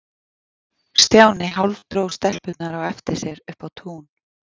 Stjáni hálfdró stelpurnar á eftir sér upp á tún.